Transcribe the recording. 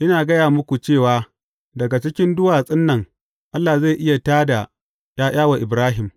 Ina gaya muku cewa daga cikin duwatsun nan Allah zai iya tā da ’ya’ya wa Ibrahim.